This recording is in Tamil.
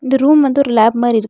இந்த ரூம் வந்து ஒரு லேப் மாரி இருக்--